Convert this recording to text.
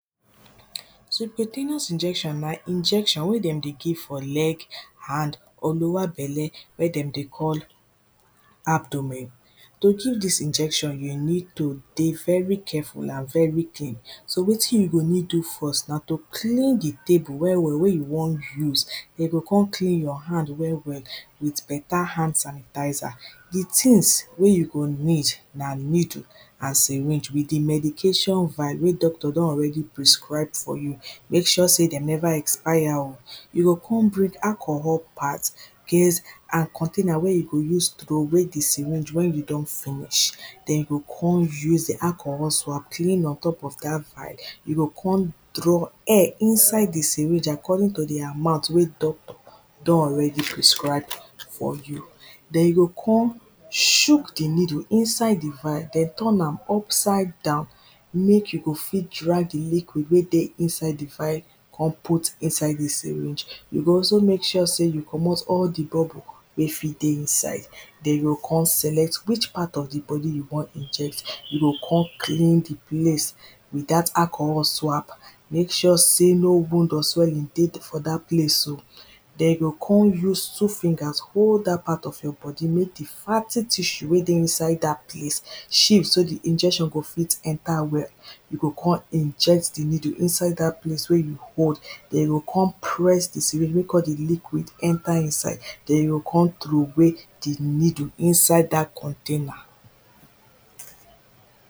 Subcontaneous injection an injection wey dem dey give for leg, hand or lower belle wey dem dey call abdomen. To give dis injection you need to dey very careful and very clean. So wetin you go need do first na to clean di table well well, wey you wan use, den you go con clean your hand well well with better hand sanitizer. Di things wey you go need na needle and syringe with di medication vile wey doctor don already prescribe for you. mek sure sey de never expire o, you go con bring alcohol part, gauze and container wey you go use throw way di syringe when you don finish, den you go con use alcohol swap clean ontop of dat vile, you go con draw air inside di syringe according to di amount wey doctor don already prescribe for you, den you go con shook di needle inside di vile, den turn am upside down mek you go fit drag di liquid wey dey inside di vile con put inside di syringe, you go also mek sure sey you comot all di bubble wey fit dey inside, den you go con select which part of di body you wan inject, you go con clean di place with dat alcohol swap, mek sure sey, no wound or swelling dey for dat place, den you go con use two fingers hold dat part of your body, mek di fatty tissue wey dey inside dat place shift, so di injection go fit enter well, you go con inject di needle inside dat place wey you hold, den you go con press di syringe mek all di liquid enter inside den you go con throw way di needle inside dat container.